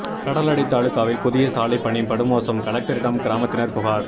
கடலாடி தாலுகாவில் புதிய சாலை பணி படுமோசம் கலெக்டரிடம் கிராமத்தினர் புகார்